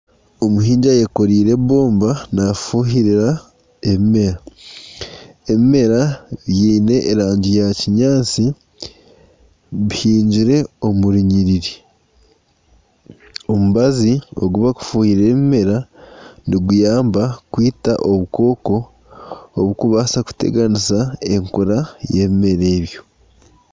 Omuhingi ayekoriire ebomba naafuhirira ebimera, ebimera biine erangi ya kinyaatsi, bihingire omu runyiriri, omubazi ogu barikufuhirira ebimera niguyamba kwita obukooko, oburikubaasa kuteganisa enkura y'ebimera ebyo